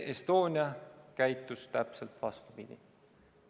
Estonia käitus täpselt vastupidi.